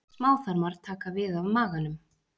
Smáþarmar taka við af maganum.